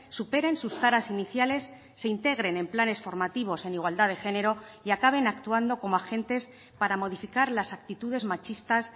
superen sus taras iniciales se integren en planes formativos en igualdad de género y acaben actuando como agentes para modificar las actitudes machistas